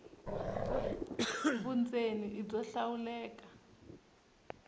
vundzeni i byo hlawuleka